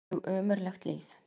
Alveg ömurlegt líf.